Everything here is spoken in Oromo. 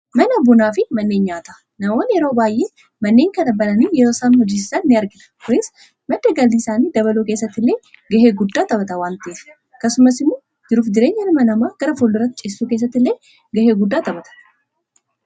mana abbunaa fi manneen nyaata namaon yeroo baay'ee manneen kana bananii yroosaan hojiisisan ini argna kuris madda galdiiisaanii dabaluu keessatti illee gahee guddaa taphata waantii kasumas imu jiruuf jireenya hilma namaa gara fulduratti cissuu kessatti illee gahee guddaa taphata